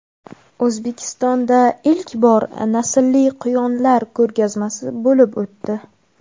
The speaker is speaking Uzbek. O‘zbekistonda ilk bor naslli quyonlar ko‘rgazmasi bo‘lib o‘tdi.